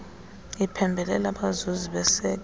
iphembelela abazuzi baseke